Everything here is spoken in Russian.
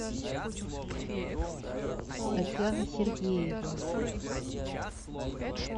татьяна сергеева